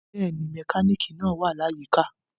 Bẹ́ẹ̀ni, mekaniki naa wa ni ayika.